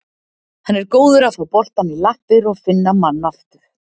Hann er góður að fá boltann í lappir og finna mann aftur.